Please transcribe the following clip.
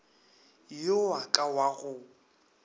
yo wa ka wa go